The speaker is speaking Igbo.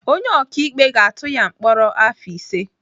Onye ọkaikpe ga-atụ ya mkpọrọ afọ ise.